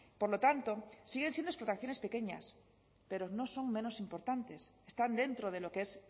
por lo tanto siguen siendo explotaciones pequeñas pero no son menos importantes están dentro de lo que es